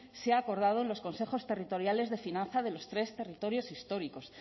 se ha acordado en los consejos territoriales de finanza de los tres territorios históricos